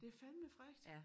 Det fandeme frækt